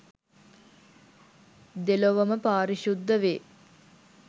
දෙලොවම පාරිශුද්ධ වේ.